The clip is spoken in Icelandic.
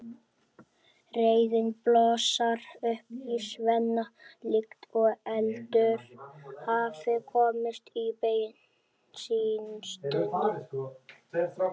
Reiðin blossar upp í Svenna líkt og eldur hafi komist í bensíntunnu.